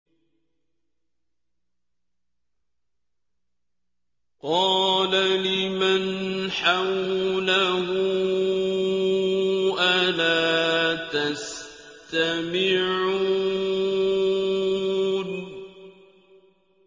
قَالَ لِمَنْ حَوْلَهُ أَلَا تَسْتَمِعُونَ